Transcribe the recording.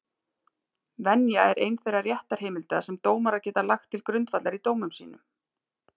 Venja er ein þeirra réttarheimilda sem dómarar geta lagt til grundvallar í dómum sínum.